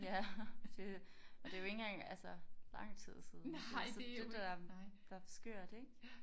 Ja det og det jo ikke engang altså lang tid siden det så det der er der er skørt ikke